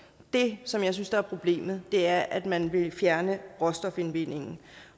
det som jeg synes er problemet er at man vil fjerne råstofindvindingen